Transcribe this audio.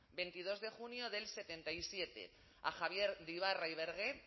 veintidos de junio del setenta y siete a javier de ybarra y bergé